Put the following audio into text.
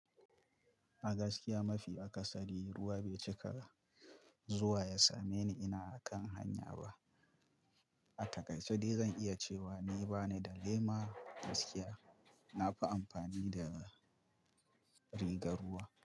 A gaskiya mafi akasari ruwa bai cika zuwa ya same ni ina kan hanya ba. A takaice dai zan iya cewa ni ba ni da lema gaskiya. Na fi amfani da rigar ruwa.